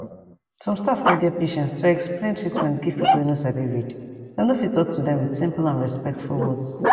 some staff no get patience to explain treatment give pipu wey no sabi read dem no fit talk to dem with simple and respectful words